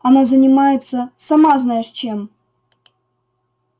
она занимается сама знаешь чем